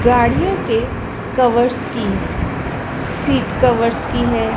गाड़ियों के कवर्स की है सीट कवर्स की है।